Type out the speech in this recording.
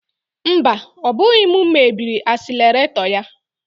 Mba, ọ bụghị m mebiri asileretọ ya